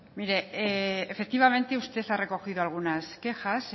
mire efectivamente usted ha recogido alguna quejas